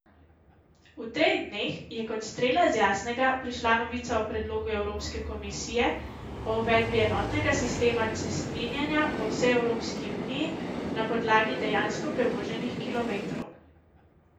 V teh dneh je kot strela z jasnega prišla novica o predlogu evropske komisije o uvedbi enotnega sistema cestninjenja po vsej Evropski uniji na podlagi dejansko prevoženih kilometrov.